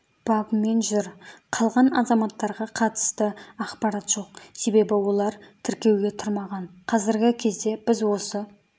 бабымен жүр қалған азаматтарға қатысты ақпарат жоқ себебі олар тіркеуге тұрмаған қазіргі кезде біз осы